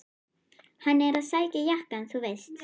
Hann er að sækja jakkann þú veist.